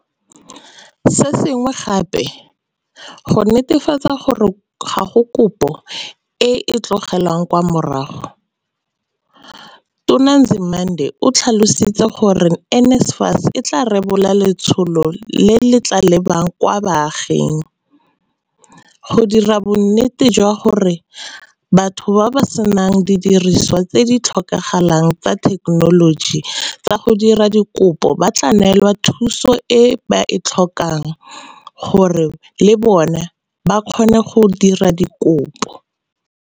Se sengwe gape, go netefatsa gore ga go kopo epe e e tlogelwang kwa morago, Tona Nzimande o tlhalositse gore NSFAS e tla rebola letsholo le le tla lebang kwa baaging, go dira bonnete jwa gore batho ba ba senang didiriswa tse di tlhokagalang tsa thekenoloji tsa go dira dikopo ba neelwa thuso e ba e tlhokang gore le bona ba kgone go dira dikopo.